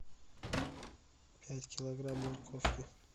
пять килограмм морковки